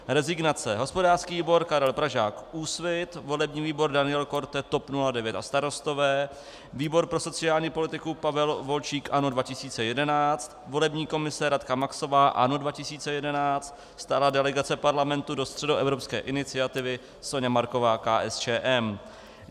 Rezignace: hospodářský výbor Karel Pražák - Úsvit, volební výbor Daniel Korte - TOP 09 a Starostové, výbor pro sociální politiku Pavel Volčík - ANO 2011, volební komise Radka Maxová - ANO 2011, stálá delegace Parlamentu do Středoevropské iniciativy Soňa Marková - KSČM.